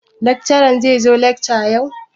Lakcaran zai zo lakca yau?